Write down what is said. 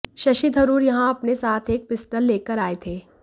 शशि थरूर यहां अपने साथ एक पिस्टल लेकर आए थे